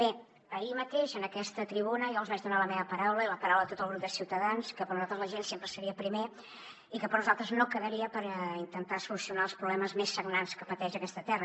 bé ahir mateix en aquesta tribuna jo els vaig donar la meva paraula i la paraula de tot el grup de ciutadans que per nosaltres la gent sempre seria el primer i que per nosaltres no quedaria per intentar solucionar els problemes més sagnants que pateix aquesta terra